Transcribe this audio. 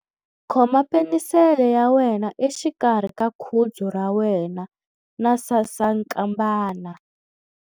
Khoma penisele ya wena exikarhi ka khudzu ra wena na sasankambana.